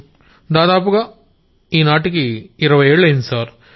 గౌరవ్ దాదాపుగా ఇవ్వాళ్టికి ఇరవై ఏళ్లయ్యింది సార్